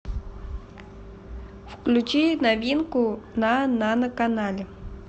включи новинку на нано канале